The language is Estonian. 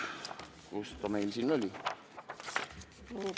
Kus ta meil siin oli?